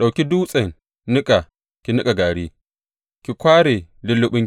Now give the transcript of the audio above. Ɗauki dutsen niƙa ki niƙa gari; ki kware lulluɓinki.